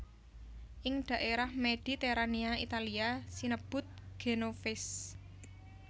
Ing dhaérah Mediterania Italia sinebut genovese